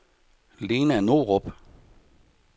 Lena Norup